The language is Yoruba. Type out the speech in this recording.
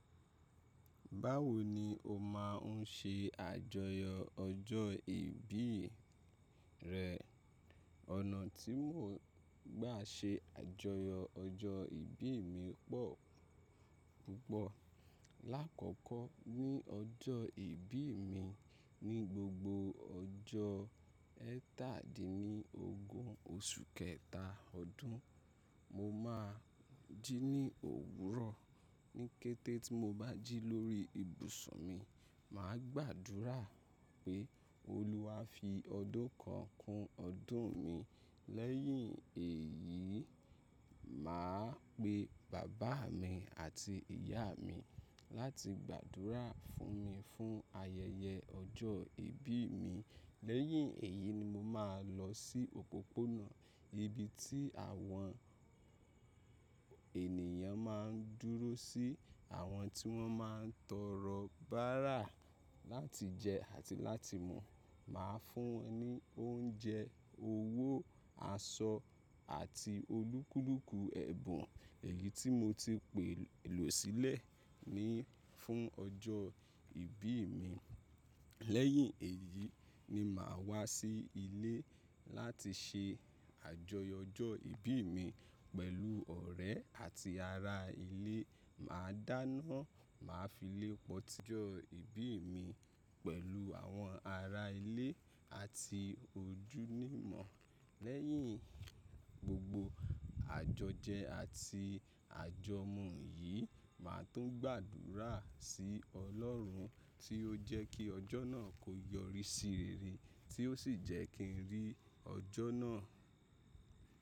Báwo ni o máa ń ṣe àjọyọ̀ ọjọ́ ìbí rẹ? Ọ̀nà tí mò ń gbà ṣe àjọyọ̀ ọjọ́ ìbí mi pọ̀ púpọ̀. Láàkọ́kọ́ ní ọjọ́ ìbí mi, ní gbogbo ọjọ́ ẹ́tàdínní ogún oṣù kẹta ọdún, mo máa jí ní òwúrọ̀. Ní kété tí mo bá jí lórí ibùsùn mi, màá gbàdúrà pé, “Olúwa fi ọdún kan kún ọdún mi.” Lẹ́yìn èyí, mà á pe bàbá mi àti ìyá mi láti gbàdúrà fún mi fún ayẹyẹ ọjọ́ ìbí mi. Lẹ́yìn èyí ni mo máa lọ sí òpópónà, nibi tí àwọn ènìyàn ma ń dúró sí àwọn tí wọ́n máa ń tọrọ bárà láti jẹ àti láti mu. Màá fún wọn ní oúnjẹ, owó, aṣọ àti olúkúlùkù ẹ̀bùn èyí tí mo ti pèlò sílẹ̀ ni fún ọjọ́ ìbí mi. Lẹ́yìn èyí ni mà á wá sí ilé láti ṣe àjọyọ̀ ọjọ́ ìbí mi pẹ̀lú ọ̀rẹ́ àti ará ilé. Màá dáná, màá fi lé poti ojọ́ ìbí mi pẹ̀lú àwọn ará ilé àti ojúlumọ̀. Lẹ́yìn gbogbo àjọjẹ àti àjọ̀mù yìí, màá tún gbàdúrà sí Ọlọ́run tí ó jẹ́ kí ọjọ́ náà kó yọrí sí rere tí ó sì jẹ́ kí n rí ọjọ́ náà.